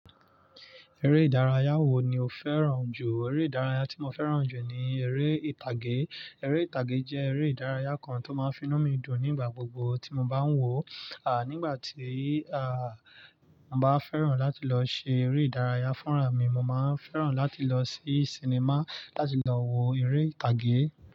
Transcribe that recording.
Eré ìdárayá wo ni o fẹ́ràn jù? Eré ìdárayá tí mo fẹ́ràn jù ni eré ìtàgé. Eré ìtàgé jẹ́ eré ìdárayá kan tó máa ń finú mi dùn nígbà gbogbo tí mo bá ń wò ó. Nígbà tí, mo bá fẹ́ràn láti lọ ṣe eré ìdárayá fúnra mi, mo máa ń fẹ́ràn láti lọ sí sinimá láti lọ wo eré ìtàgé.